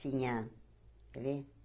Tinha, quer ver?